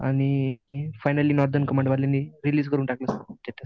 आणि finally release करून टाकली स्टेटस.